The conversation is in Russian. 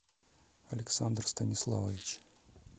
александр станиславович